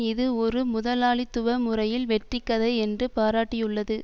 இது ஒரு முதலாளித்துவ முறையில் வெற்றி கதை என்று பாராட்டியுள்ளது